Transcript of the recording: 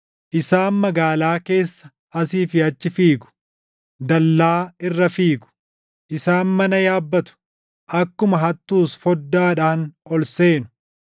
Isaan magaalaa keessa asii fi achi fiigu; dallaa irra fiigu. Isaan mana yaabbatu; akkuma hattuus foddaadhaan ol seenu.